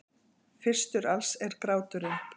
Fyrstur alls er gráturinn.